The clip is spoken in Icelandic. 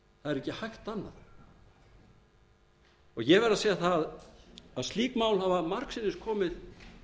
er ekki hægt annað ég verð að segja það að slík mál hafa margsinnis komið